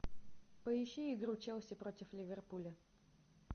поищи игру челси против ливерпуля